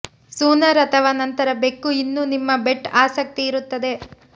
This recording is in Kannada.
ಸೂನರ್ ಅಥವಾ ನಂತರ ಬೆಕ್ಕು ಇನ್ನೂ ನಿಮ್ಮ ಬೆಟ್ ಆಸಕ್ತಿ ಇರುತ್ತದೆ